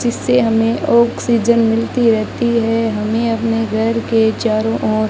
जिससे हमें ऑक्सीजन मिलती रहती है हमें अपने घर के चारों ओर--